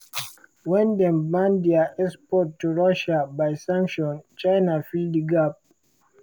wen dem ban dia export to russia by sanction china fill di gap.